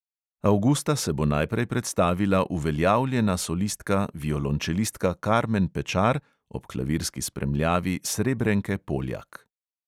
Avgusta se bo najprej predstavila uveljavljena solistka violončelistka karmen pečar ob klavirski spremljavi srebrenke poljak.